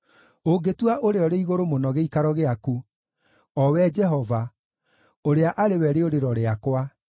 Ũngĩtua Ũrĩa-ũrĩ-Igũrũ-Mũno gĩikaro gĩaku, o we Jehova, ũrĩa arĩ we rĩũrĩro rĩakwa,